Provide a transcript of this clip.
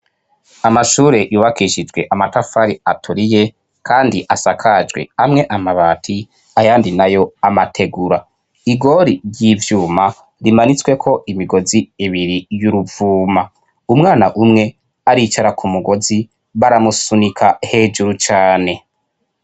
Amashure yubakishijwe amatafari aturiye, kandi asakajwe, amwe amabati ayandi nayo amategura. Igori ry'ivyuma rimanitsweko imigozi ibiri y'uruvuma. Umwana umwe aricara ku mugozi, baramusunika hejuru cane.